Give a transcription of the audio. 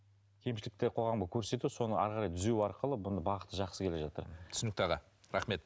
кемшіліктер қоғамға көрсету соны әрі қарай түзеу арқылы бұның бағыты жақсы келе жатыр түсінікті аға рахмет